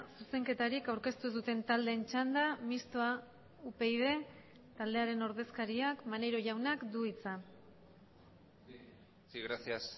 zuzenketarik aurkeztu ez duten taldeen txanda mistoa upyd taldearen ordezkariak maneiro jaunak du hitza sí gracias